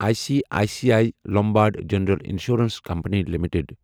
I C I C I Lombard General Insurance Company limited